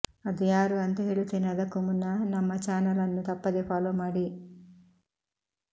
ಅದು ಯಾರು ಅಂತ ಹೇಳುತ್ತೇವೆ ಅದಕ್ಕೂ ಮುನ್ನ ನಮ್ಮ ಚಾನೆಲ್ ಅನ್ನು ತಪ್ಪದೇ ಫಾಲೋ ಮಾಡಿ